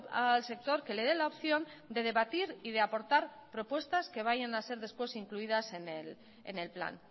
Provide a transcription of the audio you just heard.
al sector que le dé la opción de debatir y de aportar propuestas que vayan a ser después incluidas en el plan